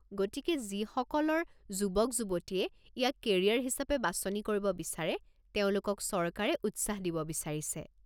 গতিকে যিসকলৰ যুৱক যুৱতীয়ে ইয়াক কেৰিয়াৰ হিচাপে বাছনি কৰিব বিচাৰে তেওঁলোকক চৰকাৰে উৎসাহ দিব বিচাৰিছে।